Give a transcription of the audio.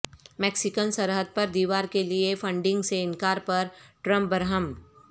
Mexican سرحد پر دیوار کیلئےفنڈنگ سےانکار پر ٹرمپ برہم